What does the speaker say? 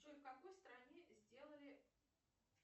джой в какой стране сделали